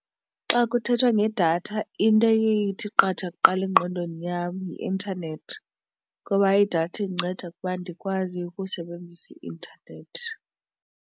Xa kuthethwa ngedatha into eye ithi qatha kuqala engqondweni yam yi-intanethi ngoba idatha indinceda ukuba ndikwazi ukusebenzisa i-intanethi.